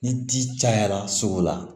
Ni ji cayara sogo la